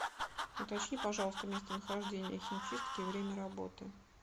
уточни пожалуйста местонахождение химчистки и время работы